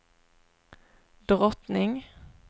drottning